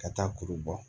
Ka taa kuru bɔ